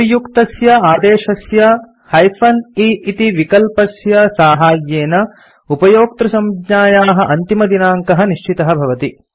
उपर्युक्तस्य आदेशस्य -e इति विकल्पस्य साहाय्येन उपयोक्तृसञ्ज्ञायाः अन्तिमदिनाङ्कः निश्चितः भवति